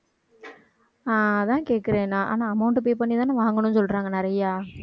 அஹ் அதான் கேக்குறேன் நான் ஆனா amount pay பண்ணிதான வாங்கணும்னு சொல்றாங்க நிறையா.